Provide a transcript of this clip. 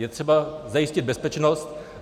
Je třeba zajistit bezpečnost.